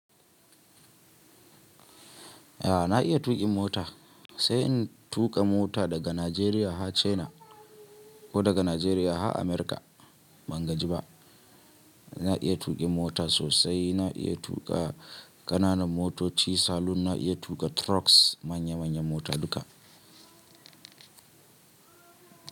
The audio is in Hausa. A na iya tuƙin mota sai in tuƙa mota daga Najeriya har China ko daga Najeriya har America. Ban gaji ba, na iya tuƙin mota sosai. Na iya tuƙa ƙananan motoci, salon na iya tuƙa trucks. Manya manya mota duka.